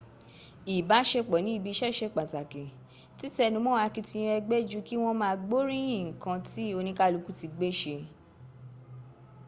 ìbáṣepsọ̀ ní ibi iṣẹ́ ṣe pàtàkì títẹnumọ́ àkitiyan ẹgbẹ́ ju kí wọ́n ma gboríyín ǹkan tí oníkálùkù ti gbé ṣe